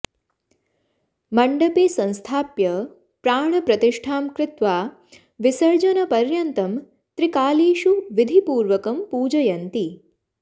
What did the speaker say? मण्डपे संस्थाप्य प्राणप्रतिष्ठां कृत्वा विसर्जनपर्यन्तं त्रिकालेषु विधिपूर्वकं पूजयन्ति